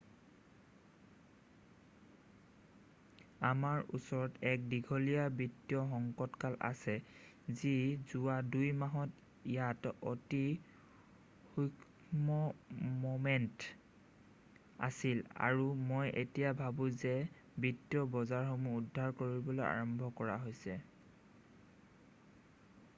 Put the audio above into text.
আমাৰ ওচৰত এক দীঘলীয়া বিত্তীয় সংকটকাল আছে যি যোৱা ২-মাহত ইয়াত অতি সূক্ষ্ম ম'মেন্ট আছিল আৰু মই এতিয়া ভাবো যে বিত্তীয় বজাৰসমূহ উদ্ধাৰ কৰিবলৈ আৰম্ভ কৰা হৈছে৷